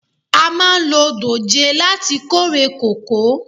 A máa lo dòjé láti kórè kòkó.